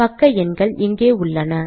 பக்க எண்கள் இங்கே உள்ளன